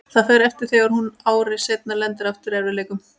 Það fer eftir þegar hún ári seinna lendir aftur í erfiðleikum.